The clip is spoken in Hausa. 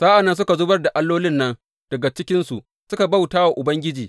Sa’an nan suka zubar da allolin nan daga cikinsu suka bauta wa Ubangiji.